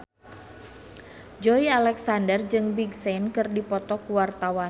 Joey Alexander jeung Big Sean keur dipoto ku wartawan